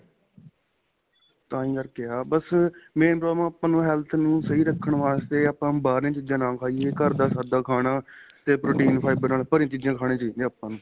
ਤਾਂਹੀ ਕਰਕੇ ਆ ਬੱਸ main problem ਆਪਾਂ ਨੂੰ health ਨੂੰ ਸਹੀਂ ਰੱਖਣ ਵਾਸਤੇ ਆਪਾਂ ਬਹਾਰਲੀ ਚੀਜ਼ਾਂ ਨਾ ਖਾਈਏ ਘਰ ਦਾ ਖਾਦਾ ਖਾਣਾ ਤੇ protein fiber ਨਾਲ ਭਰੀ ਚੀਜ਼ਾਂ ਖਾਣੀਆਂ ਚਾਹੀਦੀਆਂ ਆਪਾਂ ਨੂੰ